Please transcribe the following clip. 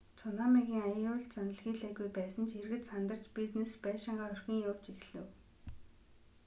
цунамигийн аюул заналхийлээгүй байсан ч иргэд сандарч бизнес байшингаа орхин явж эхлэв